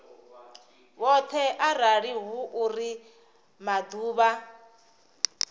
vhoṱhe arali hu uri maḓuvha